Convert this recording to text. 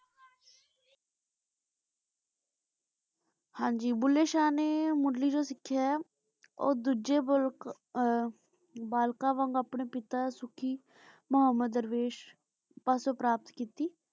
ਹਾਂਜੀ ਭੁੱਲੇ ਸ਼ਾਹ ਨੇ ਮੁਰਲੀ ਜੋ ਸਿਖਯ ਆਯ ਊ ਦੋਜਯ ਮੁਲਕ ਆਹ ਬਾਲ੍ਕਨ ਵਾਂਗ ਅਪਨੇ ਪਿਤਾ ਸੁਖੀ ਮੁਹਮ੍ਮਦ ਦਰਵੇਸ਼